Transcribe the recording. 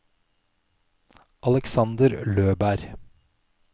Aleksander Løberg